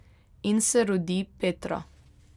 In se rodi Petra.